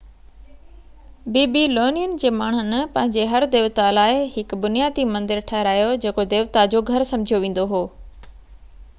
بيبي لونين جي ماڻهن پنهنجي هر ديوتا لاءِ هڪ بنيادي مندر ٺهرايو جيڪو ديوتا جو گهر سمجهيو ويندو هو